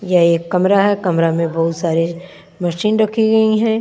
या एक कमरा है कमरा में बहुत सारे मशीन रखी गई हैं।